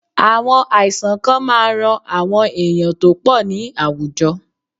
Àwọn àìsàn kan máa ran àwọn èèyàn tó pọ̀ ní àwùjọ.